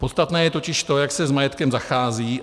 Podstatné je totiž to, jak se s majetkem zachází.